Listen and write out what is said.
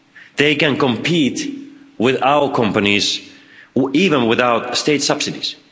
They can compete with our companies even without state subsidies.